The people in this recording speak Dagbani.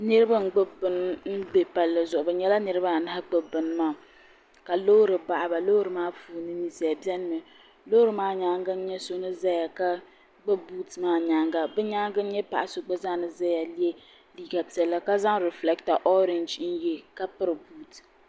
niraba n gbubi bini bɛ palli zuɣu bi nyɛla niraba anahi gbubi bini maa ka Loori baɣaba loori maa puuni ninsal biɛni mi loori maa nyaangi n nyɛ so ni ʒɛya ka gbubi buuti maa nyaanga bi nyaanga n nyɛ paɣa so gba zaa ni ʒɛya yɛ liiga piɛlli ka zaŋ rifilɛkta orɛnji n yɛ ka piri buut